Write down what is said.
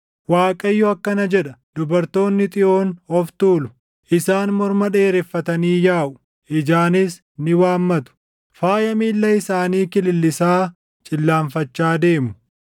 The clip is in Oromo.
Waaqayyo akkana jedha; “Dubartoonni Xiyoon of tuulu; isaan morma dheereffatanii yaaʼu; ijaanis ni waammatu; faaya miilla isaanii kilillisaa cillaanfachaa deemu.